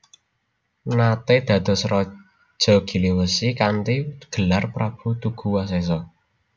Nate dados raja Giliwesi kanthi gelar Prabu Tuguwasesa